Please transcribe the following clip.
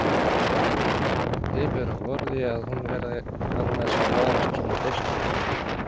Hefur á orði að hún verði annars að varast svona freistingar.